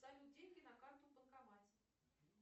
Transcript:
салют деньги на карту в банкомате